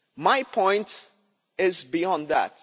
My point goes beyond that.